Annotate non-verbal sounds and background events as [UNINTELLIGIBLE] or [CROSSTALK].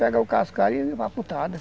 Pega o cascalho [UNINTELLIGIBLE]